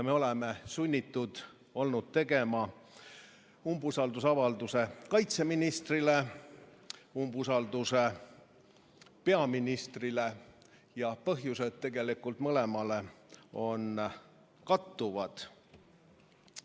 Nii oleme olnud sunnitud algatama umbusalduse avaldamise kaitseministrile ja ka peaministrile, kusjuures põhjused on mõlema puhul kattuvad.